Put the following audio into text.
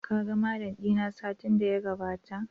Ka ga Mallam dina satin da ya gabata?